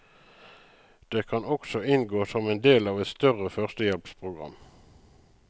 Det kan også inngå som en del av et større førstehjelpsprogram.